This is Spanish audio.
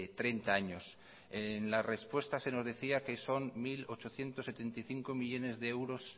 treinta años en la respuesta se nos decía son mil ochocientos setenta y cinco millónes de euros